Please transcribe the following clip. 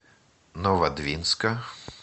новодвинска